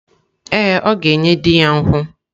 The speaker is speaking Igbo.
Ee, ọ ga-enye di ya nkwụ.